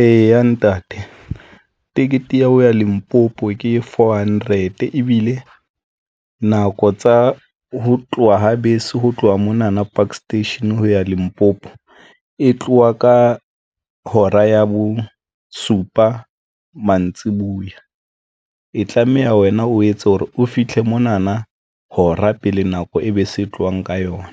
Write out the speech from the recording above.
Eya, ntate ticket ya ho ya Limpopo ke four hundred, ebile nako tsa ho tloha ho bese ho tloha mona na Park Station ho ya Limpopo, e tloha ka hora ya bosupa mantsibuya e tlameha wena o etse hore o fitlhe mona na hora pele nako e bese tlohang ka yona.